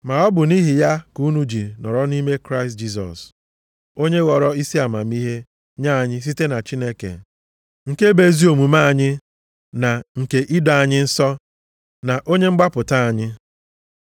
Ma ọ bụ nʼihi ya ka unu ji nọrọ nʼime Kraịst Jisọs, onye ghọrọ isi amamihe nye anyị site na Chineke, nke bụ ezi omume anyị na nke ido anyị nsọ, na onye mgbapụta anyị.